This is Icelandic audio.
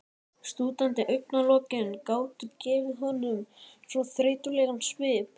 Slútandi augnalokin gátu gefið honum svo þreytulegan svip.